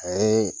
A ye